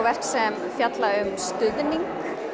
verk sem fjalla um stuðning